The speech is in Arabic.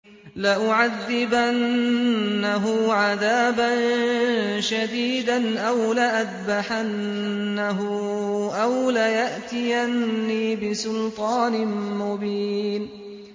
لَأُعَذِّبَنَّهُ عَذَابًا شَدِيدًا أَوْ لَأَذْبَحَنَّهُ أَوْ لَيَأْتِيَنِّي بِسُلْطَانٍ مُّبِينٍ